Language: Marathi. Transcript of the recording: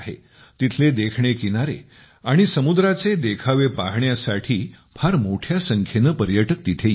तिथले देखणे किनारे आणि समुद्राचे देखावे पाहण्यासाठी फार मोठ्या संख्येने पर्यटक तिथे येतात